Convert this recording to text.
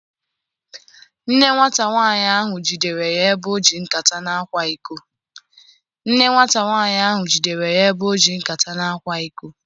Nne nwata nwanyị ahụ jidere ya ebe ọ ji nkata na-akwa iko.